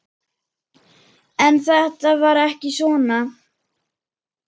En þetta var ekki svona.